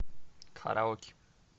караоке